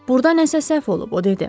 Burada nəsə səhv olub, o dedi.